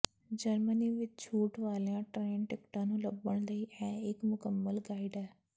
Germany ਵਿਚ ਛੂਟ ਵਾਲੀਆਂ ਟਰੇਨ ਟਿਕਟਾਂ ਨੂੰ ਲੱਭਣ ਲਈ ਇਹ ਇਕ ਮੁਕੰਮਲ ਗਾਈਡ ਹੈ